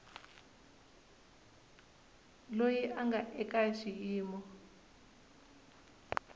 loyi a nga eka xiyimo